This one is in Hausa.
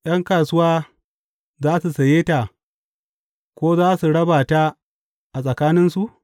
’Yan kasuwa za su saye ta ko za su raba ta a tsakaninsu?